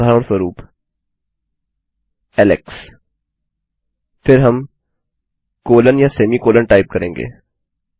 उदाहरणस्वरूप Alex फिर हम कोलोन या सेमी कोलोन टाइप करेंगे